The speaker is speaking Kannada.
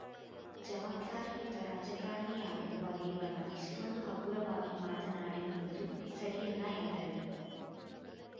ಜವಾಬ್ದಾರಿಯುತ ರಾಜಕಾರಣಿಯಾಗಿರುವ ರೇವಣ್ಣ ಇಷ್ಟೊಂದು ಹಗುರವಾಗಿ ಮಾತನಾಡಿ ರುವುದು ಸರಿಯಲ್ಲ ಎಂದರು